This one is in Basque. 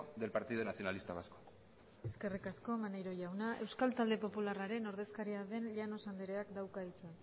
del partido nacionalista vasco eskerrik asko maneiro jauna euskal talde popularraren ordezkaria den llanos andereak dauka hitza